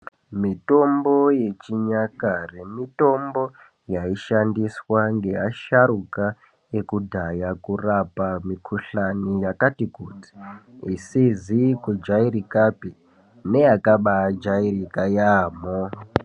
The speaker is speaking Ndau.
Mitombo yechinyakare mitombo yaishandiswa ngeasharuka ekudhaya kurapa mikhuhlani yakati kuti, isizi kujairikapi neyakabaajairika yaamho.